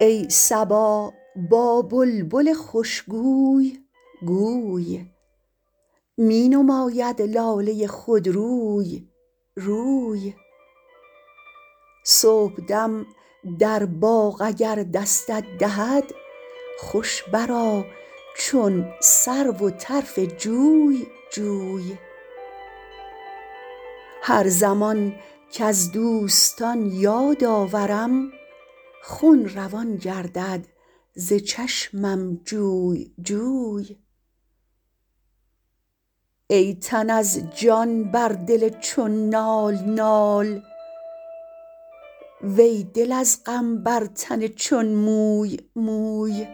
ای صبا با بلبل خوش گوی گوی می نماید لاله خودروی روی صبحدم در باغ اگر دستت دهد خوش بر آ چون سرو و طرف جوی جوی هر زمان کز دوستان یاد آورم خون روان گردد ز چشمم جوی جوی ای تن از جان بر دل چون نال نال وی دل از غم بر تن چون موی موی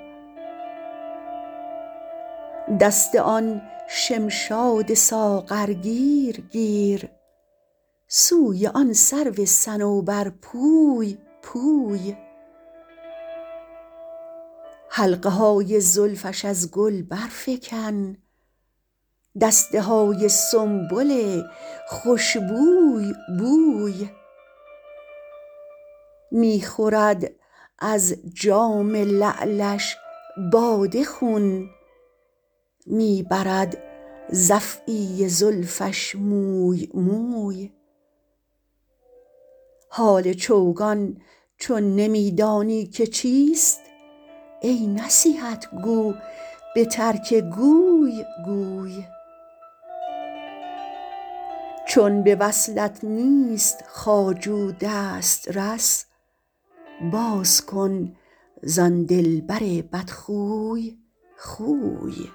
دست آن شمشاد ساغرگیر گیر سوی آن سرو صنوبرپوی پوی حلقه های زلفش از گل برفکن دسته های سنبل خوش بوی بوی می خورد از جام لعلش باده خون می برد ز افعی زلفش موی موی حال چوگان چون نمی دانی که چیست ای نصیحت گو به ترک گوی گوی چون به وصلت نیست خواجو دسترس باز کن زان دلبر بدخوی خوی